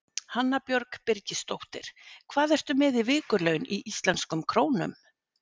Hanna Björg Birgisdóttir Hvað ertu með í vikulaun í íslenskum krónum?